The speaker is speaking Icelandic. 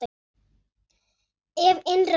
Ef innrás yrði gerð?